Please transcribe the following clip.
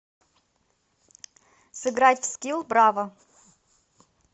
сыграть в скилл браво